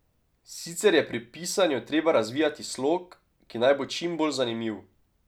Sicer je pa pri pisanju treba razvijati slog, ki naj bo čim bolj zanimiv.